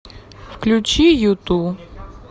включи юту